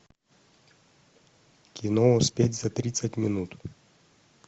кино успеть за тридцать минут